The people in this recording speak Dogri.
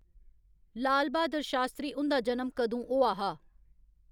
लाल बहादुर शास्त्री हुंदा जनम कदूं होआ हा